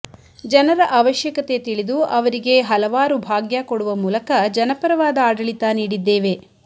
ಜನರ ಅವಶ್ಯಕತೆ ತಿಳಿದು ಅವರಿಗೆ ಹಲವಾರು ಭಾಗ್ಯ ಕೊಡುವ ಮೂಲಕ ಜನಪರವಾದ ಆಡಳಿತ ನೀಡಿದ್ದೇವೆ